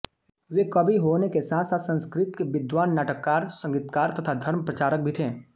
वे कवि होने के साथसाथ संस्कृत के विद्वान् नाटककार संगीतकार तथा धर्मप्रचारक भी थे